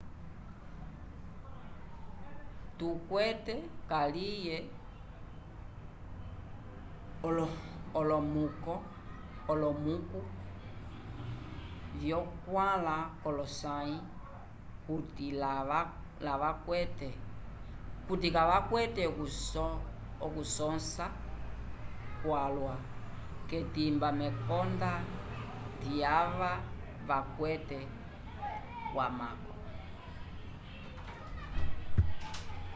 tukwete kaliye olomuku vyo 4 k'olosãyi kuti kavakwete okusõsa kwalwa k'etimba mekonda lyava vakwatele wamako